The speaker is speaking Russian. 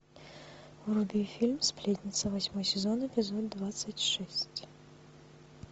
вруби фильм сплетница восьмой сезон эпизод двадцать шесть